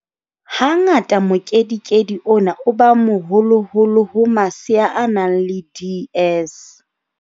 Hangata mokedikedi ona o ba moholoholo ho masea a nang le DS.